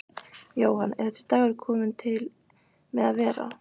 Jóhann: Er þessi dagur kominn til með að vera?